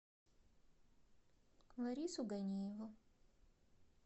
ларису ганиеву